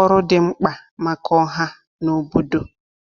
ọrụ dị mkpa maka ọha na obodo.